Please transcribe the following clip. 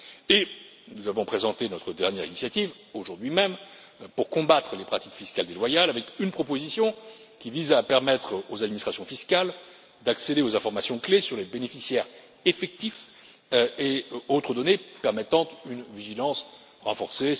Et nous avons présenté notre dernière initiative aujourd'hui même pour combattre les pratiques fiscales déloyales avec une proposition qui vise à permettre aux administrations fiscales d'accéder aux informations clés sur les bénéficiaires effectifs et autres données permettant une vigilance renforcée.